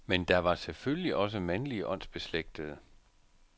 Men der var selvfølgelig også mandlige åndsbeslægtede.